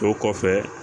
O kɔfɛ